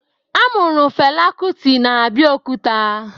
A mụrụ Fela Kuti na Abeokuta